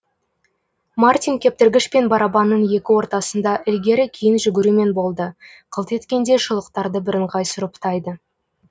мартин кептіргіш пен барабанның екі ортасында ілгері кейін жүгірумен болды қылт еткенде шұлықтарды бірыңғай сұрыптайды